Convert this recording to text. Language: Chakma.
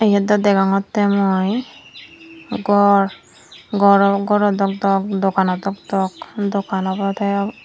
yot daw degongotte mui gor goro goro dok dok dogano dok dok dogan obode.